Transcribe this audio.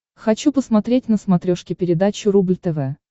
хочу посмотреть на смотрешке передачу рубль тв